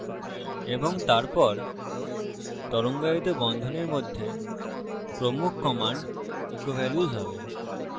এবং তারপর তরঙ্গায়িত বন্ধনীর মধ্যে প্রমুখ command echo ভ্যাল্যুস হবে